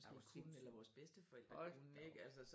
Er du sindssyg hold da op